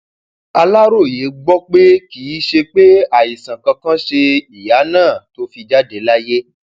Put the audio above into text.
aláròye gbọ pé kì í ṣe pé àìsàn kankan ṣe ìyá náà tó fi jáde láyé